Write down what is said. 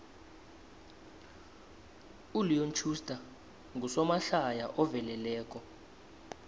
uleon schuster ngusomahlaya oveleleko